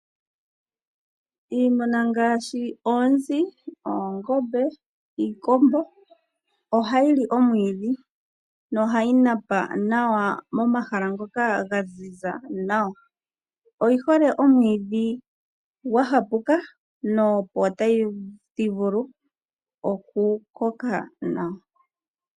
Iimuna ngaashi oonzi, oongombe niikombo ohayi li omwiidhi nohayi napa nawa momahala ngoka ga ziza nawa, oyi hole omwiidhi gwa hapuka no po tadhi vulu okukoka nawa.